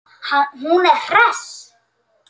Hún er hress.